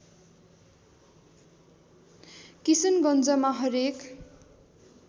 किशनगञ्जमा हरेक